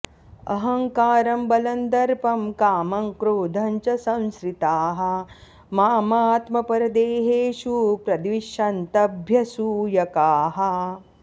अहङ्कारं बलं दर्पं कामं क्रोधं च संश्रिताः माम् आत्मपरदेहेषु प्रद्विषन्तः अभ्यसूयकाः